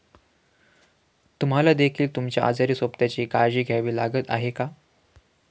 तुम्हाला देखील तुमच्या आजारी सोबत्याची काळजी घ्यावी लागत आहे का?